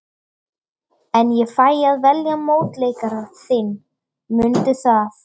En ég fæ að velja mótleikara þinn, mundu það.